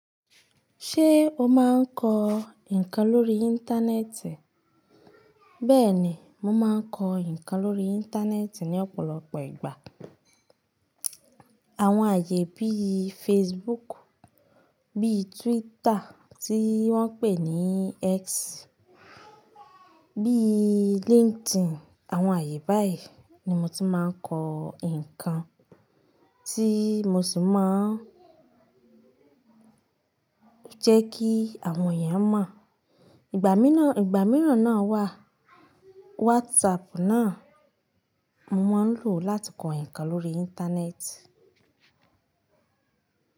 Ṣé o máa ń kọ ǹkan lórí Íńtánẹ́ẹ̀tì? Bẹ́ẹ̀ni, mo máa ń kọ ǹkan lórí Íńtánẹ́ẹ̀tì ní ọ̀pọ̀lọpọ̀ ìgbà. Àwọn ààyè bí i Facebooku, bí Twitter tí wọ́n pè ní X, bí i líńkdìn, àwọn ààyè báyìí ni mo ti máa ń kọ ǹkan tí mo sì máa ń jẹ́ kí àwọn èèyàn mọ̀. Ìgbà mìíràn náà wà wásapù náà mo máa ń lò láti kọ ǹkan lórí Íńtánẹ́ẹ̀tì.